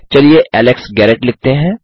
चलिए Alex Garrett लिखते हैं